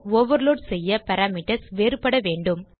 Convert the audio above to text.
overload செய்ய parameters வேறுபடவேண்டும்